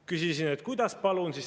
Küsisin: "Kuidas, palun?